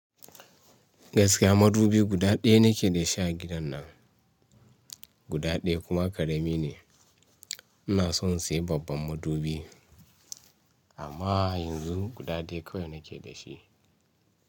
Gaskiya madubi guda ɗaya nake da shi a gidan nan, guda ɗaya kuma ƙarami ne. Ina son in sayi babban madubi amma yanzu guda ɗaya kawai nake da shi.